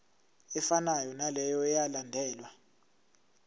efanayo naleyo eyalandelwa